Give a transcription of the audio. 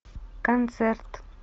концерт